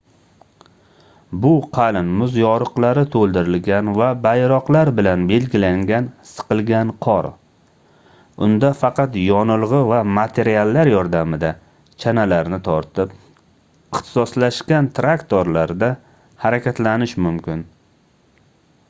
bu qalin muz yoriqlari toʻldirilgan va bayroqlar bilan belgilangan siqilgan qor unda faqat yonilgʻi va materiallar yordamida chanalarni tortib ixtisoslashgan traktorlarda harakatlanish mumkin